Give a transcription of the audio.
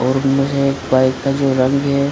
और उनमे जो बाइक का जो रंग है --